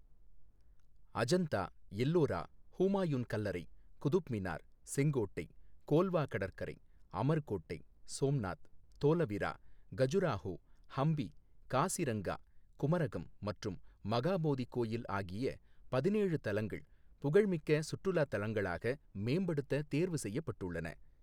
அஜந்தா, எல்லோரா, ஹூமாயூன் கல்லறை, குதுப்மினார், செங்கோட்டை, கோல்வா கடற்கரை, அமர் கோட்டை, சோம்நாத், தோலவிரா, கஜுராஹோ, ஹம்பி, காசிரங்கா, குமரகம் மற்றும் மகாபோதி கோயில் ஆகிய பதினேழு தலங்கள் புகழ்மிக்க சுற்றுலா தலங்களாக மேம்படுத்த தேர்வு செய்யப்பட்டுள்ளன.